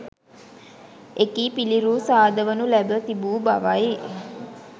එකී පිළිරූ සාදවනු ලැබ තිබූ බවයි.